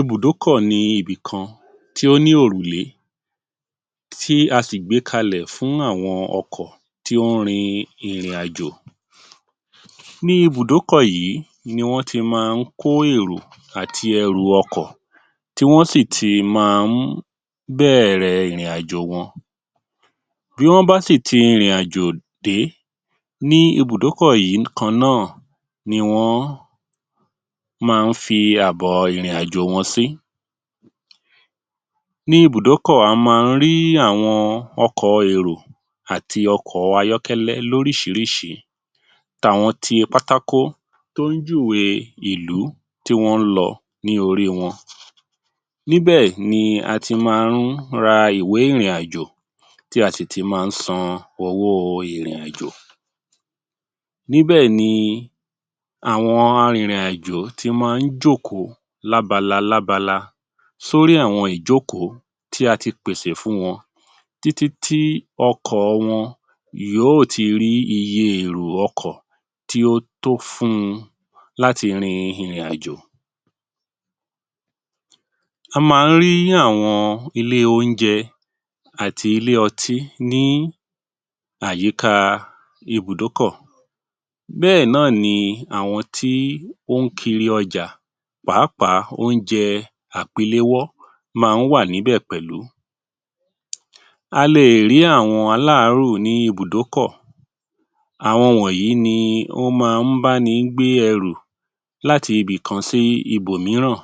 Ibùdókọ̀ ni ibì kan tí ó ní òrùlé, tí a sì gbé kalẹ̀ fún àwọn ọkọ̀ tí ó ń rin ìrìn àjò. Ní Ibùdókọ̀ yìí ni wọ́n ti máa ń kó èrò àti ẹrù ọkọ̀ tí wọ́n sì tì máa ń bẹ̀rẹ̀ ìrìn àjò wọn. Bí wọ́n bá sì ti ìrìn àjò dé, ní Ibùdókọ̀ yìí kan náà ni wọ́n máa ń fi àbọ̀ ìrìn àjò wọn sí. Ní Ibùdókọ̀, a máa ń rí ọkọ̀ èrò àti ọkọ̀ ayọ́kẹ́lẹ́ lóríṣiríṣi, tàwọn ti pátákó tó ń júwèé ìlú tí wọ́n ń lọ ní orí wọn. Níbẹ̀ ni a ti máa ń ra ìwé ìrìn àjò, tí a sì ti máa ń san owó ìrìn àjò. Níbẹ̀ ni àwọn arìnrìn-àjò tí máa ń jókòó lábala lábala sórí àwọn ìjókòó tí a ti pèsè fún wọn, títí tí ọkọ̀ wọn yóò ti rí iye èrò ọkọ̀ tí ó tó fún un láti rin ìrìn àjò. A máa ń rí àwọn ilé oúnjẹ àti ilé ọtí ní àyíká Ibùdókọ̀. Bẹ́ẹ̀ náà ni àwọn tí ó ń kiri ọjà, pàápàá oúnjẹ àpélẹ́wọ́ máa ń wà níbẹ̀ pẹ̀lú. A lè rí àwọn aláàárù ní Ibùdókọ̀. Àwọn wọ̀nyí ni ó máa ń bá ni ń gbé ẹrù láti ibì kan sí ibọ̀ mìíràn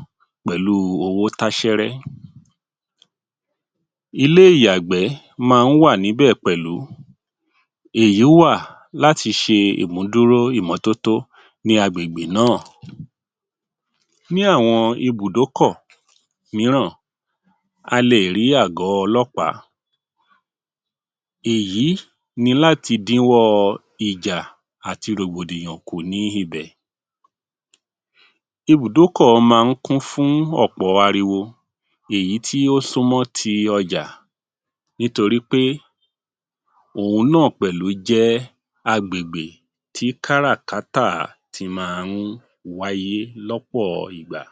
pẹ̀lú owó táṣẹ́rẹ́. Ilé ìyàgbẹ́ máa ń wà níbẹ̀ pẹ̀lú. Èyí wà láti ṣe imú dúró ìmọ́tótó ní ágbègbè náà. Ní àwọn Ibùdókọ̀ míràn, a lè rí àgọ́ ọlọ́pàá, èyí ni lati dín wọ́ ìjà àti rògbòdìyàn kù ní ibẹ̀. Ibùdókọ̀ máa ń kún fún ọ̀pọ̀ ariwo èyí tí ó sún mọ́ ti ọjà nítorí pé òhun náà pẹ̀lú jẹ́ agbègbè tí kárà-kátà ti máa ń wáyé lọ́pọ̀ ìgbà.